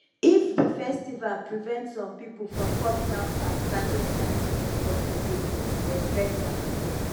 if di festival prevent some pipo from coming out at certain time of di day respect am